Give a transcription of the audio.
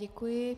Děkuji.